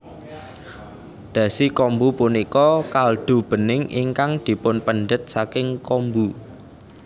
Dashi kombu punika kaldu bening ingkang dipunpendhet saking kombu